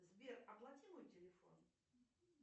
сбер оплати мой телефон